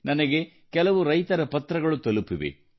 ನನಗೆ ಕೆಲವು ರೈತರ ಪತ್ರಗಳು ತಲುಪಿವೆ